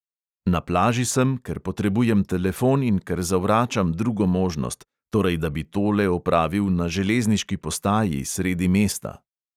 Na plaži sem, ker potrebujem telefon in ker zavračam drugo možnost, torej da bi tole opravil na železniški postaji, sredi mesta.